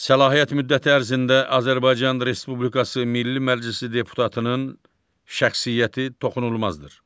Səlahiyyət müddəti ərzində Azərbaycan Respublikası Milli Məclisi deputatının şəxsiyyəti toxunulmazdır.